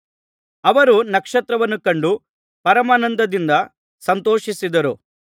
ಅವರು ನಕ್ಷತ್ರವನ್ನು ಕಂಡು ಪರಮಾನಂದದಿಂದ ಸಂತೋಷಿಸಿದರು